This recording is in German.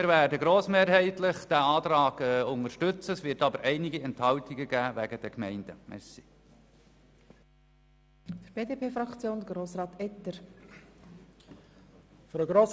Wir werden diesen Antrag grossmehrheitlich unterstützen, und wegen den Gemeinden wird es einige Enthaltungen geben.